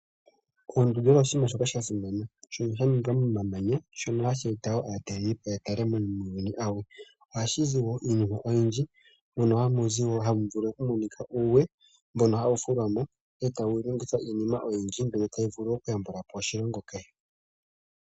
Oondundu odho oshinima sha simana shono sha ningwa momamanya shono hashi eta wo aataleli po ya tale iinima oyindji. Ohashi zi wo iinima oyindji mono hamu zi nohamu vulu okumonika uuwe mbono hawu fulwa mo etawu longithwa iinima oyindji mbyono tayi vulu okuya mbula po oshilongo kehe.